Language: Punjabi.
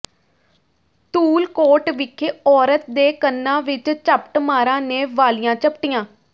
ਧੂਲਕੋਟ ਵਿਖੇ ਔਰਤ ਦੇ ਕੰਨਾਂ ਵਿਚ ਝਪਟਮਾਰਾਂ ਨੇ ਵਾਲੀਆਂ ਝਪਟੀਆਂ